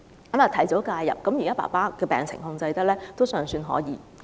由於及早介入，現時在控制病情方面還算可以。